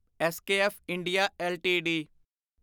SKF India LTD